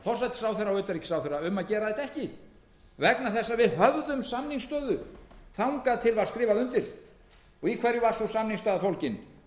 forsætisráðherra og utanríkisráðherra um að gera þetta ekki vegna þess að við höfðum samningsstöðu þangað til skrifað var undir í hverju var sú samningsstaða fólgin hún